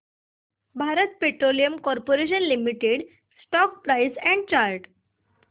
Bharat petroleum corporation limited stock price and chart